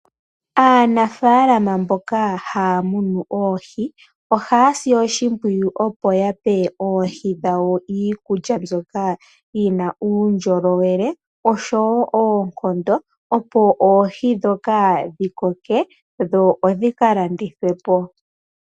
Aanafalaama mboka haya munu oohi ohaya i oshimpwiyu opo ya pe oohi dhawo iikulya mbyoka yi na uundjolowele noshowo oonkondo, opo oohi ndhoka dhi koke dho dhi ka landithwe po.